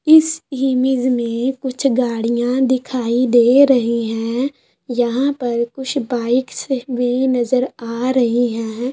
इस इमेज में कुछ गाड़ियां दिखाई दे रही हैं यहां पर कुछ बाइकस भी नजर आ रही है।